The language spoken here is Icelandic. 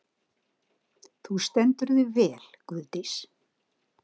Þú stendur þig vel, Guðdís!